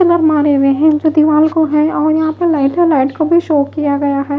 Pillar मारे हुए हैं जो दीवाल को हैं और यहां पे लाइटें लाइट को भी शो किया गया है।